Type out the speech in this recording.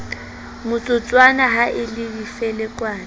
motsotswana ha e le difelekwane